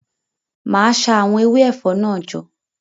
Ma sa àwọn ewé ẹ̀fọ́ náà jọ.